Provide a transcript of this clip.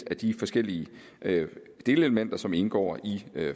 af de forskellige delelementer som indgår i